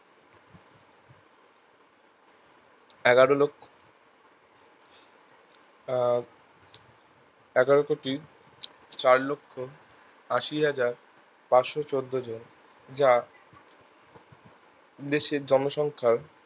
এগারো লক্ষ্য আর এগারো কোটি চার লক্ষ্য আসি হাজার পাঁচশো চদ্দো জন যা দেশের জনসংখ্যার